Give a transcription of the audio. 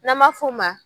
N'an b'a f'o ma